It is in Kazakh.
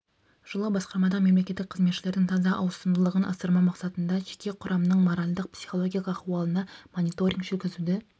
жыфлы басқармадағы мемлекеттік қызметшілердің таза ауысымдылығын асырмау мақсатында жеке құрамның моральдық-психологиялық ахуалына мониторинг жүргізуді